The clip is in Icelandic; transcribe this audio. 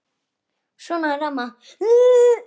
Svona er amma.